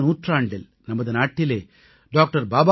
கடந்த நூற்றாண்டில் நமது நாட்டிலே டாக்டர்